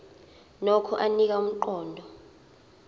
nokho anika umqondo